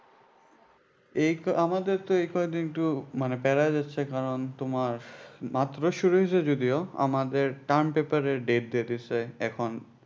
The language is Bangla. এইতো আমাদের তো এ কদিন একটু মানে প্যারা যাচ্ছে কারণ তোমার মাত্রই শুরু হয়েছে যদিও আমাদের term paper এর date দিয়ে দিসে এখন